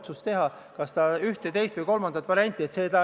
Palun mitte jätkata seda debatti protseduurilise küsimuse sildi all.